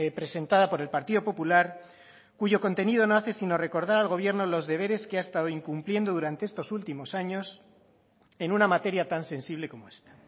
presentada por el partido popular cuyo contenido no hace sino recordar al gobierno los deberes que ha estado incumpliendo durante estos últimos años en una materia tan sensible como esta